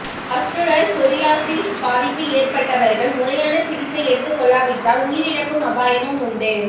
pustular psoriasis பாதிப்பு ஏற்பட்டவர்கள் முறையான சிகிச்சை எடுத்துக்கொள்ளாவிட்டால் உயிரிழக்கும் அபாயமும் உண்டு